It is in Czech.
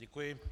Děkuji.